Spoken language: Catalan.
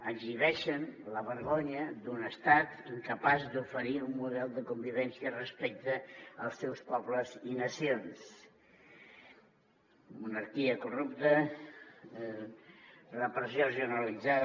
exhibeixen la vergonya d’un estat incapaç d’oferir un model de convivència respecte als seus po·bles i nacions monarquia corrupta repressió generalitzada